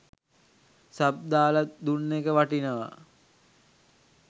sub දාලා දුන්න එක වටිනවා